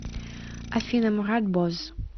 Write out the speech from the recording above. афина мурат боз